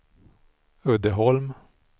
Uddeholm